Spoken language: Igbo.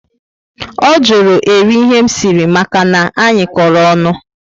O jụrụ eri ihe m siri maka na anyị koro ọṅụ